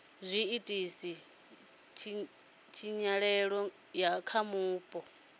zwi ita tshinyalelo kha vhupo